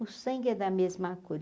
O sangue é da mesma cor.